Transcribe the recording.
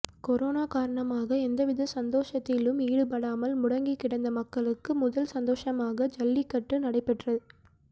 corona காரணமாக எந்தவித சந்தோஷத்திலும் ஈடுபடாமல் முடங்கிக்கிடந்த மக்களுக்கு முதல் சந்தோஷமாக ஜல்லிக்கட்டு நடைபெற்று